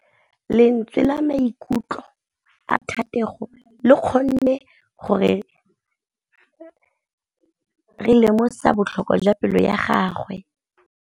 Lentswe la maikutlo a Thategô le kgonne gore re lemosa botlhoko jwa pelô ya gagwe.